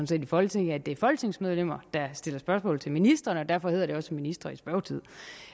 set i folketinget at det er folketingsmedlemmerne der stiller spørgsmål til ministrene og derfor hedder det også ministre i spørgetid